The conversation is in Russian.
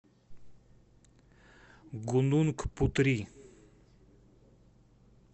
гунунг путри